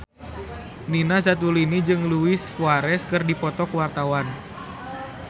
Nina Zatulini jeung Luis Suarez keur dipoto ku wartawan